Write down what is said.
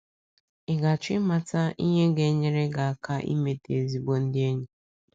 Ị̀ ga - achọ ịmata ihe ga - nyere gị aka imete ezigbo ndị enyi?